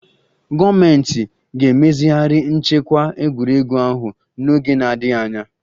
Gọọmentị ga-emezigharị nchekwa egwuregwu ahụ n'oge na-adịghị anya